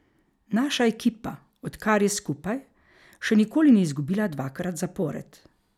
Naša ekipa, od kar je skupaj, še nikoli ni izgubila dvakrat zapored.